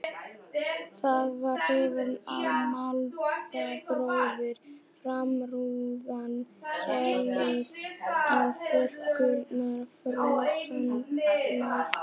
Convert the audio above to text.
Það var hrím á mælaborðinu, framrúðan héluð og þurrkurnar frosnar.